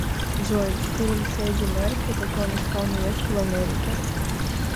джой фильм с эди мерфи как он искал невесту в америке